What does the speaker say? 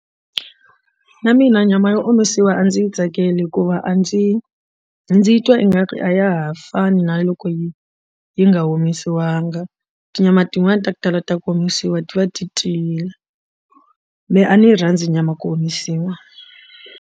Na mina nyama yo omisiwa a ndzi yi tsakeli hikuva a ndzi ndzi twa ingaku a ya ha fani na loko yi yi nga omisiwanga tinyama tin'wani ta ku tala ta ku omisiwa ti va ti tiyile me a ni yi rhandza nyama ya ku omisiwa.